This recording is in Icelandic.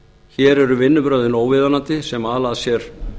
hér eru vinnubrögðin óviðunandi sem ala af sér